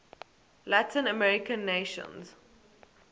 latin american nations